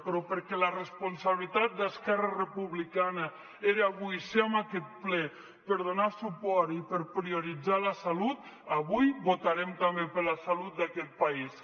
però perquè la responsabilitat d’esquerra republicana era avui ser en aquest ple per donar suport i per prioritzar la salut avui votarem també per la salut d’aquest país